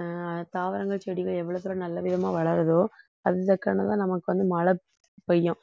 ஆஹ் தாவரங்கள் செடிகள் எவ்வளவு தூரம் நல்ல விதமா வளருதோ அந்த நமக்கு வந்து மழை பெய்யும்